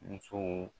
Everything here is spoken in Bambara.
Musow